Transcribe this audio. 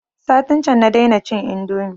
Satin can na dai na cin indomi